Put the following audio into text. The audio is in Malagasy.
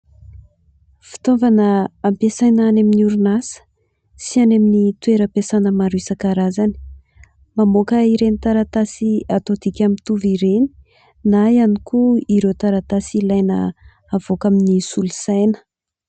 Fitaovana ampiasaina any amin'ny orinasa sy any amin'ny toeram-piasana maro isan-karazany. Mamoaka ireny taratasy atao dika mitovy ireny na ihany koa ireo taratasy ilaina avoaka amin'ny solosaina.